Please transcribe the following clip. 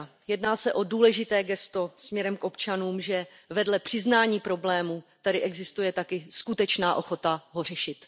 Jedná se o důležité gesto směrem k občanům, že vedle přiznání problému tady existuje taky skutečná ochota ho řešit.